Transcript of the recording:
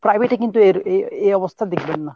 private এ কিন্তু এর এ অবস্থা দেখবেন না